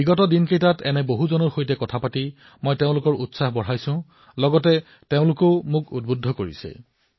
বিগত দিন কেইটাত মই বহু লোকৰ সৈতে ফোনত কথা পাতিছো তেওঁলোকৰ উৎসাহ বৃদ্ধি কৰিছো আৰু তেওঁলোকৰ সৈতে কথা পাতি মই নিজেও উৎসাহিত হৈছো